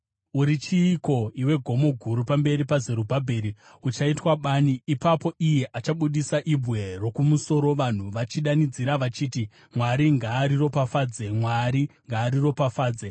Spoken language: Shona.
“Uri chiiko, iwe gomo guru? Pamberi paZerubhabheri uchaitwa bani. Ipapo iye achabudisa ibwe rokumusoro vanhu vachidanidzira vachiti, ‘Mwari ngaariropafadze! Mwari ngaariropafadze!’ ”